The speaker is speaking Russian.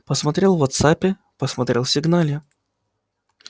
посмотрел в вотсаппе посмотрел в сигнале